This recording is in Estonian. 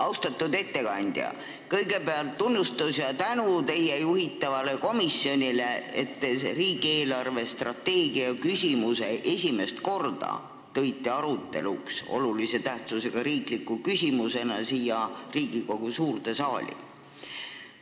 Austatud ettekandja, kõigepealt tunnustus ja tänu teie juhitavale komisjonile, et te tõite riigi eelarvestrateegia küsimuse esimest korda olulise tähtsusega riikliku küsimusena siia Riigikogu suurde saali arutamiseks.